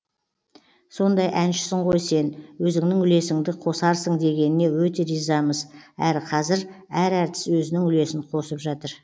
сондай әншісің ғой сен өзіңнің үлесіңді қосарсың дегеніне өте ризамыз әрі қазір әр әртіс өзінің үлесін қосып жатыр